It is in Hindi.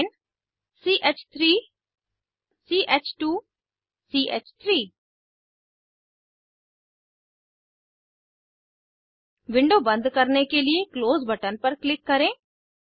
प्रोपेन ch3 ch2 च3 विंडो बंद करने के लिए क्लोज बटन पर क्लिक करें